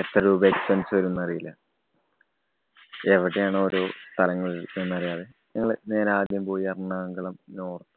എത്ര രൂപ expense വരും ന്നറിയില്ല. എവിടെയാണ് ഓരോ സ്ഥലങ്ങള്‍ എന്നറിയാതെ ഞങ്ങള് നേരെ ആദ്യം പോയി എറണാകുളം north